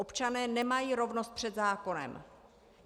Občané nemají rovnost před zákonem.